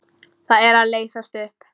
Það er að leysast upp.